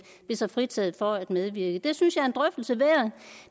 sig fritaget for at medvirke det synes